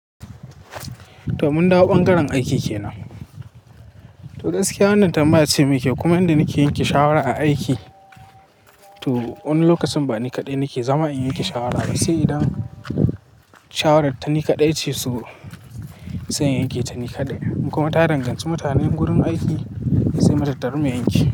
To mun dawo bangaren aiki kenan. To gaskiya wannan tambaya ce muke kuma yanda nake yanke shawara a aiki. To wani lokacin ba ni kaɗai nake zama in yanke shawara ba, sai idan shawarar ta ni kaɗai ce su sai in yanke ta ni kaɗai. Kuma ta rangwanci mutanen gurin aiki sai mata tarar mu yanke.